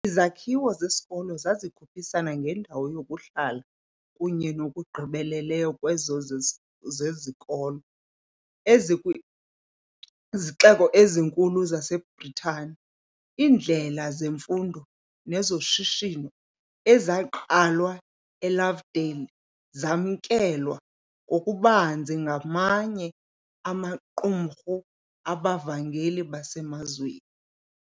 Izakhiwo zesikolo zazikhuphisana ngendawo yokuhlala kunye nokugqibelela kwezo zezikolo ezikwizixeko ezikhulu zaseBritani. Iindlela zemfundo nezoshishino ezaqalwa eLovedale zamkelwa ngokubanzi ngamanye amaqumrhu abavangeli basemazweni.